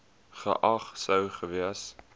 geag sou gewees